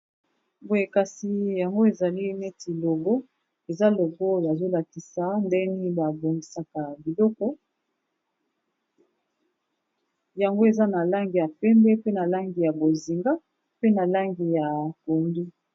Boye kasi yango ezali neti logo eza logo bazolakisa ndenge nini babongisaka biloko yango eza na langi ya pembe pe na langi ya bozinga pe na langi ya pondu.